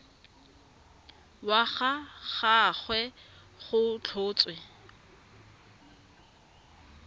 wa ga gagwe go tlhotswe